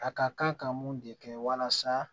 A ka kan ka mun de kɛ walasa